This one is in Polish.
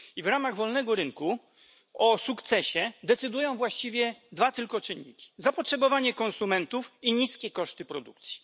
W ramach wolnego rynku o sukcesie decydują właściwie tylko dwa czynniki zapotrzebowanie konsumentów i niskie koszty produkcji.